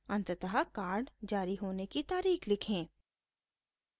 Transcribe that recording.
अंततः कार्ड जारी होने की तारीख़ लिखें